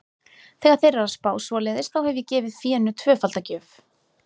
Þegar þeir eru að spá svoleiðis, þá hef ég gefið fénu tvöfalda gjöf.